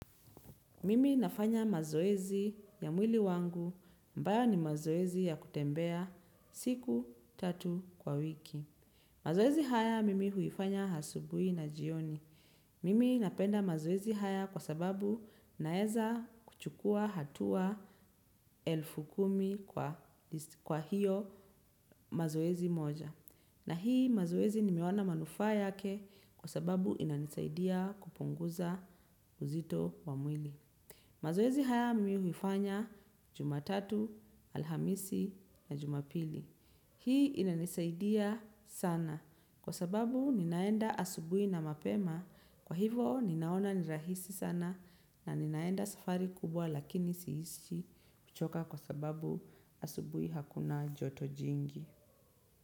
Mimi nafanya mazoezi ya mwili wangu ambayo ni mazoezi ya kutembea siku tatu kwa wiki. Mazoezi haya mimi huifanya hasubui na jioni. Mimi napenda mazoezi haya kwa sababu naeza kuchukua hatua elfu kumi kwa hiyo mazoezi moja. Na hii mazoezi nimeona manufaa yake kwa sababu inanisaidia kupunguza uzito wa mwili. Mazoezi haya mi huifanya juma tatu, alhamisi na juma pili. Hii inanisaidia sana kwa sababu ninaenda asubui na mapema kwa hivo ninaona ni rahisi sana na ninaenda safari kubwa lakini siisishi kuchoka kwa sababu asubui hakuna joto jingi.